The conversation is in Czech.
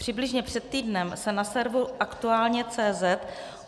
Přibližně před týdnem se na serveru aktualne.cz